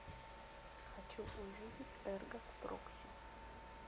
хочу увидеть эрго прокси